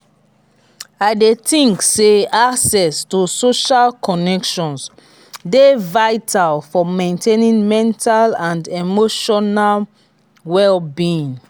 i dey think say access to social connections dey vital for maintaining mental and emotional well-being.